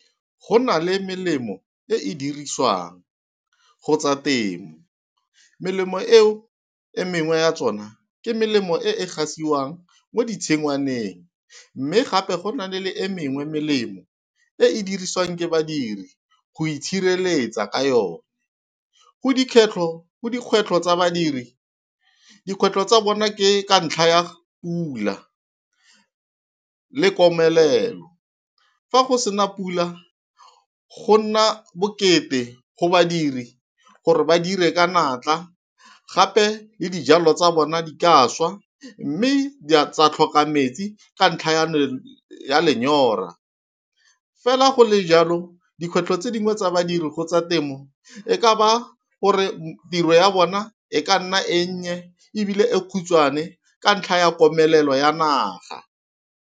Go nale melemo e e dirisiwang go tsa temo. Melemo eo e mengwe ya tsona ke melemo e e gasiwang mo ditshingwaneng, mme gape go na le e mengwe melemo e e dirisiwang ke badiri go itshireletsa ka yone. Go dikgwetlho tsa badiri, dikgwetlho tsa bona ke ka ntlha ya pula le komelelo, fa go sena pula go nna bokete go badiri gore ba dire ka natla, gape le dijalo tsa bona di ka swa, mme tsa tlhoka metsi ka ntlha ya lenyora. Fela go le jalo dikgwetlho tse dingwe tsa badiri go tsa temo e ka ba gore tiro ya bona, e ka nna e nnye ebile e khutshwane ka ntlha ya komelelo ya naga.